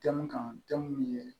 Denw kan denw ye